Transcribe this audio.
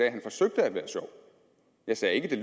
at han forsøgte at være sjov jeg sagde ikke at det